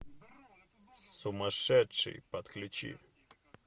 сумасшедший подключи